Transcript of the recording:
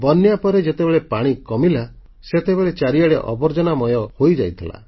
ବନ୍ୟା ପରେ ଯେତେବେଳେ ପାଣି କମିଲା ସେତେବେଳେ ଚାରିଆଡ଼େ ଆବର୍ଜନାମୟ ହୋଇଯାଇଥିଲା